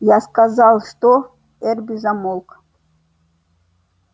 я сказал что эрби замолк